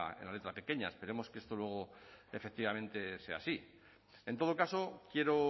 en la letra pequeña esperemos que esto luego efectivamente sea así en todo caso quiero